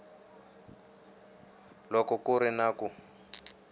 loko ku ri na ku